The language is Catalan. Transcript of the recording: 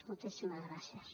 moltíssimes gràcies